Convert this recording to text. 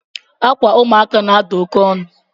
Akwa ụmụaka na-ada oke onu